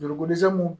Juruko dɛsɛw